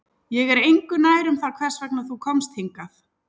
Ég er engu nær um það hvers vegna þú komst hingað